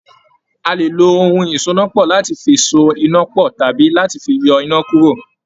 A lè lo ohun ìsonápọ̀ láti fi so iná pọ̀ tàbí láti fi yọ iná kúrò.